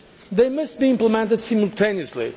They must be implemented simultaneously.